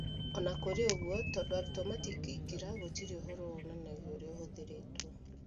O na kũrĩ ũguo, tondũ arutwo matingĩingĩingĩra, gũtirĩ ũhoro wonanagia ũrĩa ũhũthĩrĩtwo.